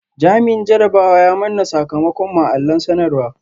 Jami’in jarabawa ya manna sakamakon mu a allon sanarwa